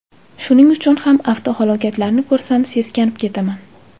Shuning uchun ham avtohalokatlarni ko‘rsam, seskanib ketaman.